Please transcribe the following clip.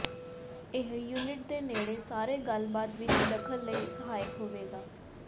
ਇਹ ਯੂਨਿਟ ਦੇ ਨੇੜੇ ਸਾਰੇ ਗੱਲਬਾਤ ਵਿੱਚ ਦਖਲ ਲਈ ਸਹਾਇਕ ਹੋਵੇਗਾ